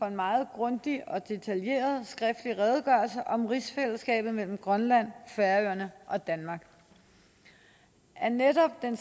en meget grundig og detaljeret skriftlig redegørelse om rigsfællesskabet mellem grønland færøerne og danmark af netop den